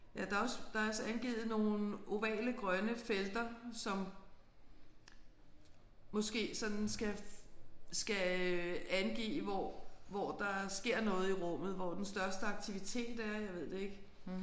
Ja der er også der er også angivet nogle ovale grønne felter som måske sådan skal skal øh angive hvor hvor der sker noget i rummet hvor den største aktivitet er. Jeg ved det ikke